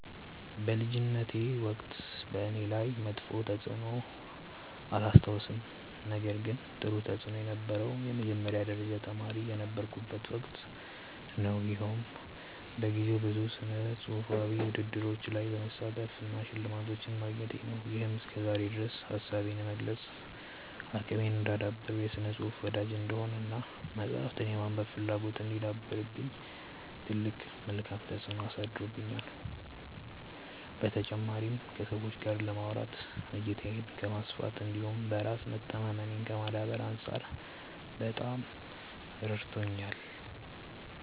በልጅነቴ ወቅት በእኔ ላይ መጥፎ ተፅዕኖ አላስታውስም ነገር ግን ጥሩ ተፅእኖ የነበረው የመጀመሪያ ደረጃ ተማሪ የነበርኩበት ወቅት ነው። ይኸውም በጊዜው ብዙ ስነፅሁፋዊ ውድድሮች ላይ መሳተፌ እና ሽልማቶችን ማግኘቴ ነው። ይሄም እስከዛሬ ድረስ ሀሳቤን የመግለፅ አቅሜን እንዳዳብር፣ የስነ ፅሁፍ ወዳጅ እንድሆን እና መፅሀፍትን የማንበብ ፍላጎት እንዲያድርብኝ ትልቅ መልካም ተፅዕኖ አሳድሮብኛል። በተጨማሪም ከሰዎች ጋር ለማውራት፣ እይታዬን ከማስፋት እንዲሁም በራስ መተማመኔን ከማዳበር አንፃር በጣም ረድቶኛል።